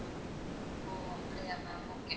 ஓ அப்டியா ma'am okay